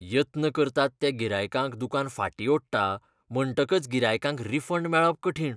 यत्न करतात त्या गिरायकांक दुकान फाटीं ओडटा म्हणटकच गिरायकांक रिफंड मेळप कठीण.